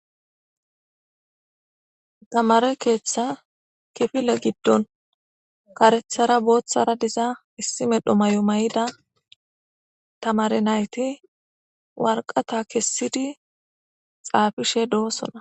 Tamare keetha kifile gidon karethara bothara dizza issi mero mayo mayida tamate nayti warqata kesidi xafishe dossona.